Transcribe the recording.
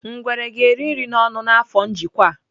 Ngwere ga-eri nri n'ọnụ n'afọ njikwa a.